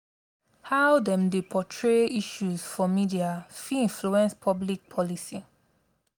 how dem dey portray issues for media fit influence public policy.